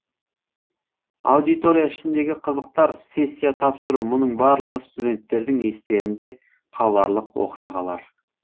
аудитория ішіндегі қызықтар сессия тапсыру мұның барлығы студенттердің естерінде қаларлық оқиғалар